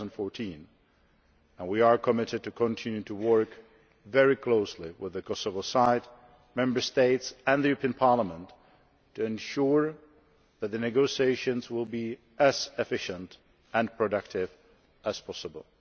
2014. We are committed to continue to work very closely with Kosovo, the Member States and Parliament to ensure that the negotiations will be as efficient and productive as possible.